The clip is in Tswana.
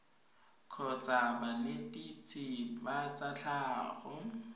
kgotsa banetetshi ba tsa tlhago